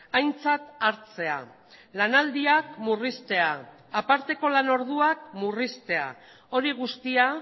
aintzat hartzea lanaldiak murriztea aparteko lanorduak murriztea hori guztia